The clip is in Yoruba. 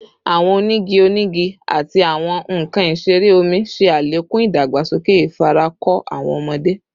Awọn onigi onigi ati awọn nkan isere omi ṣe alekun idagbasoke ifarako awọn ọmọde